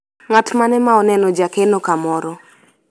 ng'at mane ma oneno jakeno kamoro ?